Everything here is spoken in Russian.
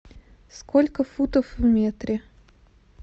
сколько футов в метре